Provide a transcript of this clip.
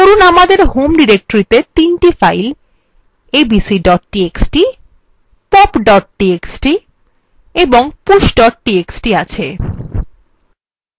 ধরুন আমাদের home ডিরেক্টরিতে ৩ txt files abc txt pop txt এবং push txt আছে